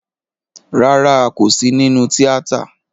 Rárá, a kò sí nínú tíátà